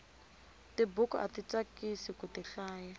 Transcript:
tibuku ati tsakisi kuti hlaya